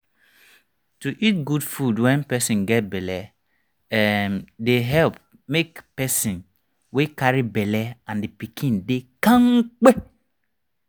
to eat good food when person get belle[um]dey help make person wey carry belle and the pikiin dey kampe